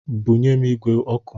Bunye m igbe ọkụ!